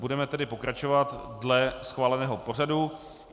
Budeme tedy pokračovat dle schváleného pořadu.